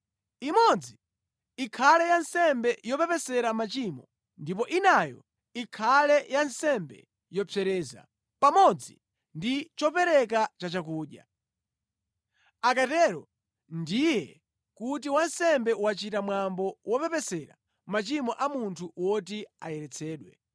imodzi ikhale ya nsembe yopepesera machimo ndipo inayo ikhale ya nsembe yopsereza, pamodzi ndi chopereka chachakudya. Akatero ndiye kuti wansembe wachita mwambo wopepesera machimo a munthu woti ayeretsedwe.